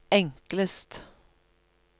enklest